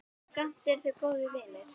Samt eru þau góðir vinir.